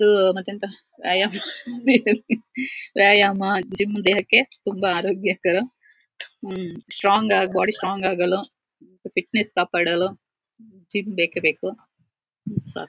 ಆಹ್ಹ್ ಮಾತೆಂಥ ವ್ಯಾಯಾಮ ವ್ಯಾಯಾಮ ಜಿಮ್ ದೇಹಕ್ಕೆ ತುಂಬ ಆರೋಗ್ಯಕರ ಹಮ್ಮ್ ಸ್ಟ್ರಾಂಗ್ ಬಾಡಿ ಸ್ಟ್ರಾಂಗ್ ಆಗಲು ಫಿಟ್ನೆಸ್ ಕಾಪಾಡಲು ಜಿಮ್ ಬೇಕೇಬೇಕು ಹಾಮ್ಮ್ ಸಾ --.